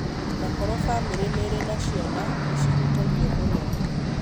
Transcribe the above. Na koro famĩlĩ nĩrĩ na ciana nĩ cihutagio mũno.